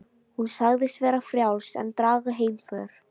Hún sagðist vera frjáls en draga heimför.